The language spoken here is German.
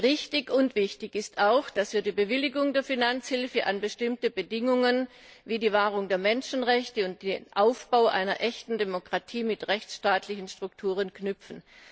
Richtig und wichtig ist auch, dass wir die Bewilligung der Finanzhilfe an bestimmte Bedingungen, wie die Wahrung der Menschenrechte und den Aufbau einer echten Demokratie mit rechtsstaatlichen Strukturen, knüpfen.